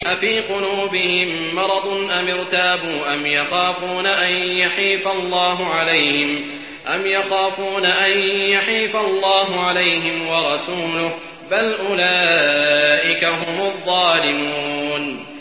أَفِي قُلُوبِهِم مَّرَضٌ أَمِ ارْتَابُوا أَمْ يَخَافُونَ أَن يَحِيفَ اللَّهُ عَلَيْهِمْ وَرَسُولُهُ ۚ بَلْ أُولَٰئِكَ هُمُ الظَّالِمُونَ